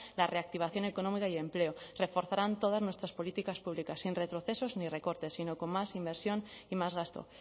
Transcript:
la reactivación económica y empleo reforzarán todas nuestras políticas públicas sin retrocesos ni recortes sino con más inversión y más gasto